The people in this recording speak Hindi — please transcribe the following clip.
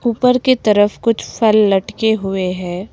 ऊपर के तरफ कुछ फल लटके हुए हैं।